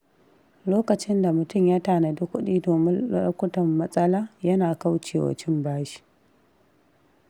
Lokacin da mutum ya tanadi kuɗi domin lokutan matsala, yana kaucewa cin bashi.